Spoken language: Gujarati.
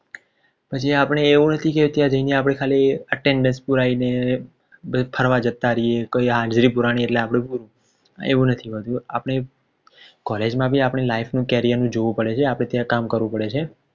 પછી અપડે એવું નથી કે ત્યાં જાય ને આપડે ખાલી Attendant પુરાઈને ફરવા જતા રહીએ કઈ હાજરી પુરાણી એટલે એવું નથી હોતું આપણે કોલરજમાં પણ આપણી life નું Carial નું જોવું પડે છે ત્યાં કામ કરવું પડે છે